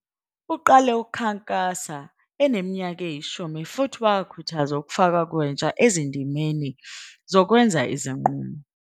Uqale ukukhankasa eneminyaka eyi-10 futhi wakhuthaza ukufakwa kwentsha ezindimeni zokwenza izinqumo.